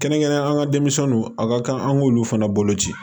Kɛrɛnkɛrɛnnenya denmisɛnninw a ka kan an k'olu fana bolo ci